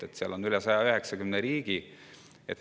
Selliseid on rohkem kui 190.